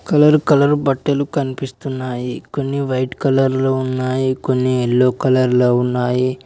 Colour colour బట్టలు కన్పిస్తున్నాయి కొన్ని వైట్ కలర్ లో ఉన్నాయి కొన్ని యెల్లో కలర్ లో ఉన్నాయి.